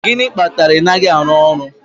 Gịnị kpatara na ị naghị arụ ọrụ